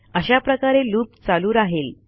अशाप्रकारे लूप चालू राहिल